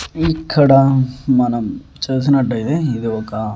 ఇక్కడ మనం చూసినట్టు అయితే ఇది ఒక.